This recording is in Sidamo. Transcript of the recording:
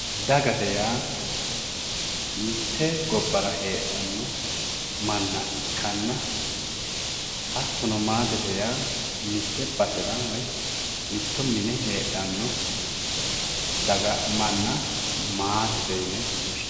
dagate yaa mitte gobbara heedhanno manna ikkanna hattono maatete yaa mitte basera woyi mitto mine heedhanno daga manna maatete yine woshshinanni.